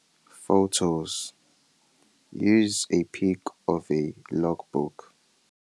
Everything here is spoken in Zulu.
Photos- Use a pic of a logbook.